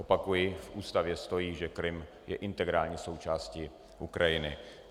Opakuji, v ústavě stojí, že Krym je integrální součástí Ukrajiny.